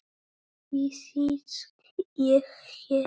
Því sit ég hér.